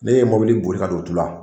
Ne ye mobili boli ka don u tu la